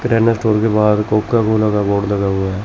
किराना store के बाहर Coca Cola का बोर्ड लगा हुआ है।